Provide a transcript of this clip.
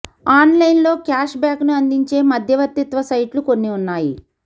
on line లో cashback ను అందించే మధ్యవర్తిత్వ సైట్లు కొన్ని ఉన్నాయి